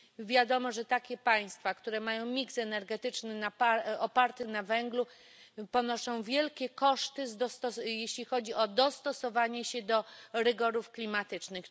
Wiadomo, że państwa, które mają mix energetyczny oparty na węglu, ponoszą wielkie koszty, jeśli chodzi o dostosowanie się do rygorów klimatycznych.